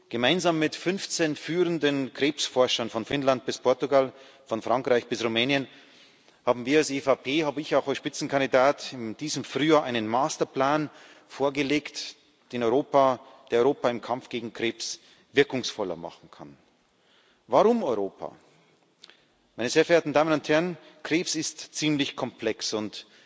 Gemeinsam mit 15 führenden Krebsforschern, von Finnland bis Portugal, von Frankreich bis Rumänien, haben wir als EVP habe ich auch als Spitzenkandidat in diesem Frühjahr einen Masterplan vorgelegt, der Europa im Kampf gegen Krebs wirkungsvoller machen kann. Warum Europa? Meine sehr verehrten Damen und Herren, Krebs ist ziemlich komplex